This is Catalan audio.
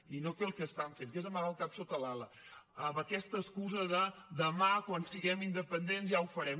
i no fer el que estan fent que és amagar el cap sota l’ala amb aquesta excusa de demà quan siguem independents ja ho farem